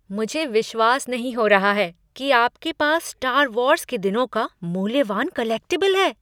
मुझे विश्वास नहीं हो रहा है कि आपके पास स्टार वार्स के दिनों का मूल्यवान कलेक्टिबल है!